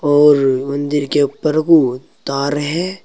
और मंदिर के ऊपर बहुत तार है।